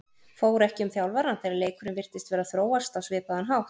Fór ekki um þjálfarann þegar leikurinn virtist vera að þróast á svipaðan hátt?